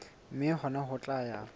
mme hona ho tla ya